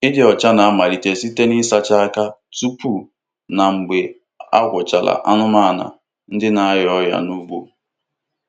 Ịdị ọcha na-amalite site n'ịsacha aka tupu na mgbe a gwọchara anụmanụ ndị na-arịa ọrịa n'ugbo.